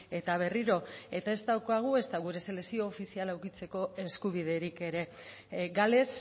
eta berriro eta ez daukagu ezta gure selekzio ofiziala edukitzeko eskubiderik ere gales